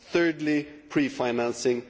thirdly, pre financing